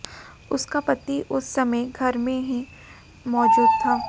उसका पति उस समय घर में ही मौजूद था